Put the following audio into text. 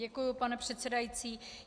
Děkuji, pane předsedající.